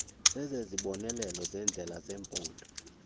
zezibonelelo zendlela zephondo